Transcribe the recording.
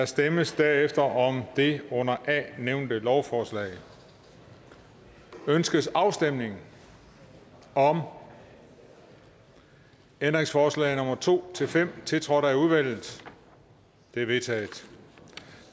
stemmes derefter om det under a nævnte lovforslag ønskes afstemning om ændringsforslag nummer to fem tiltrådt af udvalget de er vedtaget